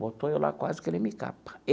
Botou eu lá quase que ele me capa.